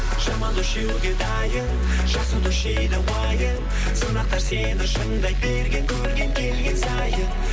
жаман дос жеуге дайын жақсы дос жейді уайым сынақтар сені шыңдай берген көрген келген сайын